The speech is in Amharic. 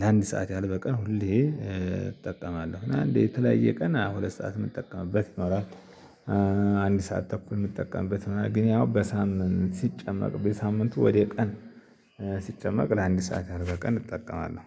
ለአንድ ሰዓት ያህል በቀን ሁሌ እጠቀማለሁ። አንዴ የተለያየ ቀን ሁለት ሰዓት የምጠቀምበት ይኖራል። አንድ ሰዓት ተኩል የሚጠቀምበት ምናምን ግን ያው በሳምንት ሲጨመቅ በሳምንቱ ወደ ቀን ሲጨመቅ ለአንድ ሰዓት ያህል በቀን እጠቀማለሁ።